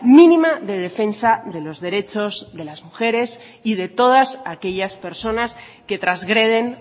mínima de defensa de los derechos de las mujeres y de todas aquellas personas que transgreden